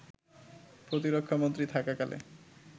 প্রতিরক্ষা মন্ত্রী থাকাকালে